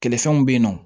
Kɛlɛfɛnw bɛ yen nɔ